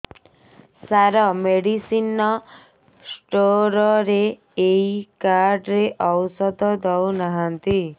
ସାର medicine store ରେ ଏଇ card ରେ ଔଷଧ ଦଉନାହାନ୍ତି